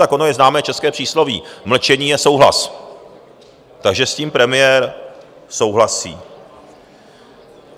Tak ono je známé české přísloví: Mlčení je souhlas, takže s tím premiér souhlasí.